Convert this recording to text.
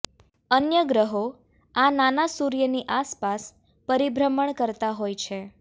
અન્ય ગ્રહો આ નાના સૂર્યની આસપાસ પરિભ્રમણ કરતા હોય છે